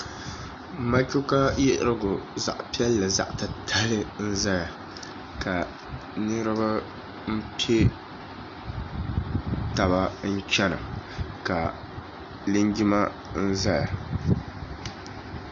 Matuuka yiɣirigu zaɣ' piɛlli zaɣ' titali n-zaya ja niriba m-pe taba n-chana ka linjima zaya